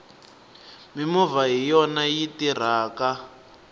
mimovha hiyona yi tirhaka